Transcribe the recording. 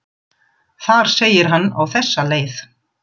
Þar segir hann á þessa leið